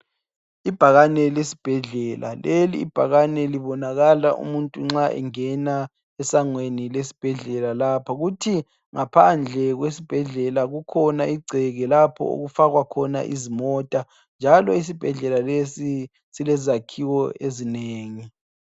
Ibhakane lesbhedlela lelibhakane libonakala umuntu nxa engena esangweni lesbhedlela lapha kuthi ngaphandle kwesbhedlela kukhona igceke lapho okufakwa khona izimota njalo isibhedlela lesi silezakhiwo ezinengi.